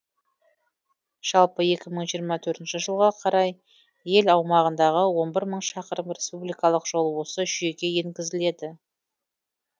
жалпы екі мың жиырма төртінші жылға қарай ел аумағындағы он бір мың шақырым республикалық жол осы жүйеге енгізіледі